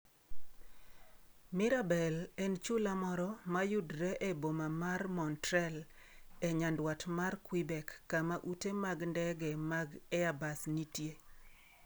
Mirabel en chula moro ma yudore e boma mar Montreal, e nyandwat mar Quebec kama ute mag ndege mag Airbus nitie.